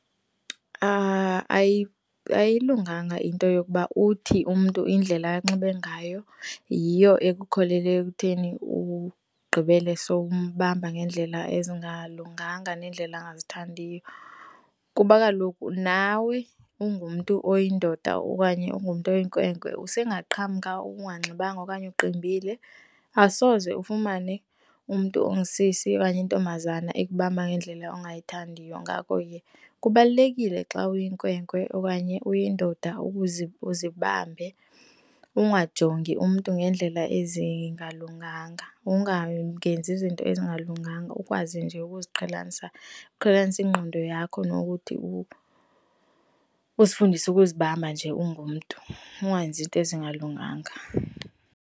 Ayilunganga into yokuba uthi umntu indlela anxibe ngayo yiyo ekukholele ekutheni ugqibele sowumbamba ngeendlela ezingalunganga neendlela angazithandiyo. Kuba kaloku nawe ungumntu oyindoda okanye ungumntu oyinkwenkwe usengaqhamka unganxibanga okanye uqimbile asoze ufumane umntu ongusisi okanye intombazana ikubamba ngendlela ongayithandiyo. Ngako ke, kubalulekile xa uyinkwenkwe okanye uyindoda uzibambe, ungajongi umntu ngendlela ezingalunganga ungenzi izinto ezingalunganga. Ukwazi nje ukuziqhelanisa, uqhelanise ingqondo yakho nokuthi uzifundise ukuzibamba nje ungumntu, ungenzi iinto ezingalunganga.